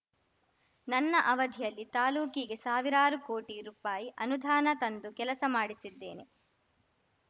ನನ್ನ ಅವಧಿಯಲ್ಲಿ ತಾಲೂಕಿಗೆ ಸಾವಿರಾರು ಕೋಟಿ ರೂಪಾಯಿಅನುದಾನ ತಂದು ಕೆಲಸ ಮಾಡಿಸಿದ್ದೇನೆ